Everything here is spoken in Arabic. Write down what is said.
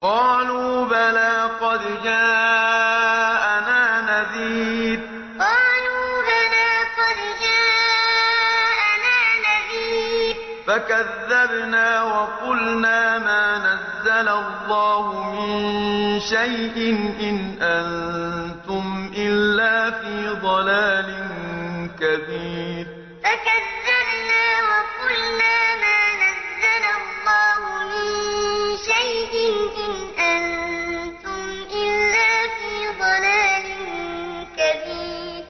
قَالُوا بَلَىٰ قَدْ جَاءَنَا نَذِيرٌ فَكَذَّبْنَا وَقُلْنَا مَا نَزَّلَ اللَّهُ مِن شَيْءٍ إِنْ أَنتُمْ إِلَّا فِي ضَلَالٍ كَبِيرٍ قَالُوا بَلَىٰ قَدْ جَاءَنَا نَذِيرٌ فَكَذَّبْنَا وَقُلْنَا مَا نَزَّلَ اللَّهُ مِن شَيْءٍ إِنْ أَنتُمْ إِلَّا فِي ضَلَالٍ كَبِيرٍ